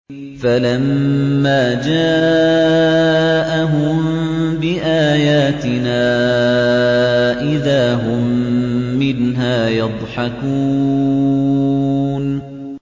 فَلَمَّا جَاءَهُم بِآيَاتِنَا إِذَا هُم مِّنْهَا يَضْحَكُونَ